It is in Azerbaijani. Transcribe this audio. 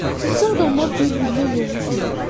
Bizdə adamlar bir-birinə yovuşmur.